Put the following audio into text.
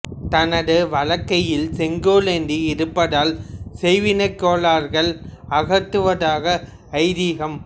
தனது வலக்கையில் செங்கோல் ஏந்தி இருப்பதால் செய்வினை கோளாறுகளை அகற்றுவதாக ஐதீகம்